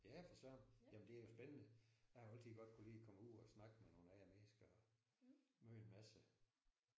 Ja for Søren jamen det er jo spændende. Jeg har jo altid godt kunnet lide og komme ud og snakke med nogle andre mennesker og møde en masse